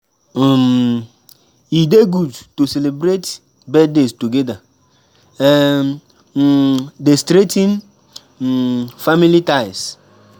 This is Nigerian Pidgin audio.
um E dey good to celebrate birthdays together; e um dey strengthen um family ties.